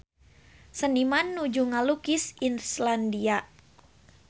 Seniman nuju ngalukis Islandia